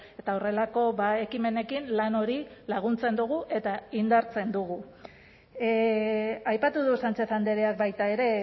eta horrelako ekimenekin lan hori laguntzen dugu eta indartzen dugu aipatu du sánchez andreak baita ere